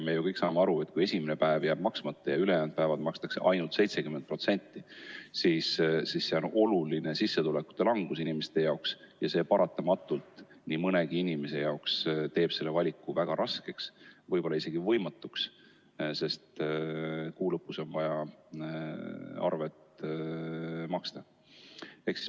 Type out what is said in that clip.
Me kõik saame ju aru, et kui esimene päev jääb hüvitamata ja ülejäänud päevade eest makstakse ainult 70% ulatuses, siis see on oluline sissetuleku vähenemine ja paratamatult teeb nii mõnegi inimese jaoks valiku väga raskeks või isegi võimatuks, sest kuu lõpus on vaja arved maksta.